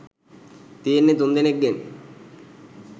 තියෙන්නේ තුන්දෙනෙක්ගෙන්.